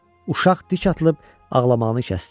Uşaq dik atılıb ağlamağını kəsdi.